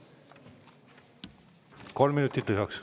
Kolm minutit lisaks.